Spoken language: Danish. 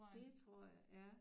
Det tror jeg ja